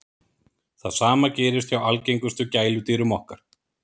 það sama gerist hjá algengustu gæludýrum okkar